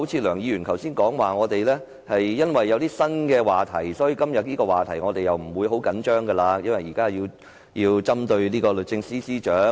梁議員剛才說因為我們已有新話題，所以不會很緊張今天這個話題，因為現在要針對律政司司長。